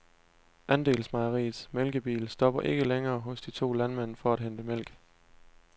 Andelsmejeriets mælkebil stopper ikke længere hos de to landmænd for at hente mælk.